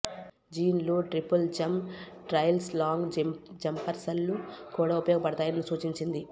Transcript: జోన్లు triple jump trials long జంప్సర్లు కూడా ఉపయోగపడతాయని సూచించింది